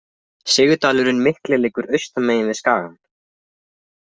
Sigdalurinn mikli liggur austan megin við skagann.